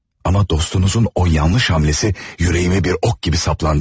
Amma dostunuzun o yanlış hamləsi ürəyimə bir ox kimi saplandı.